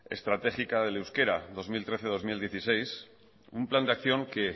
estratégica del euskera dos mil trece dos mil dieciséis un plan de acción que